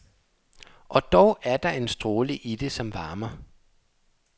Og dog er der en stråle i det, som varmer.